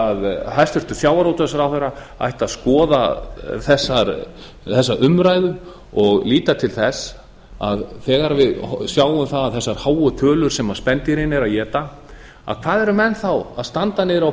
að hæstvirtur sjávarútvegsráðherra ætti að skoða þessa umræðu og lita til þess að þegar við sjáum það að þessar háu tölur sem spendýrin eru að éta hvað eru menn þá að standa niðri á